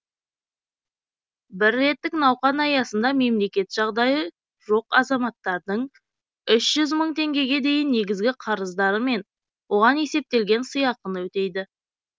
бір реттік науқан аясында мемлекет жағдайы жоқ азаматтардың үш жүз мың теңгеге дейін негізгі қарыздары мен оған есептелген сыйақыны өтейді